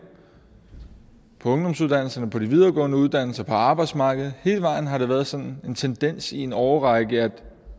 på ungdomsuddannelserne på de videregående uddannelser på arbejdsmarkedet hele vejen har det været sådan en tendens i en årrække at